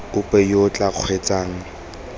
ope yo o tla kgweetsang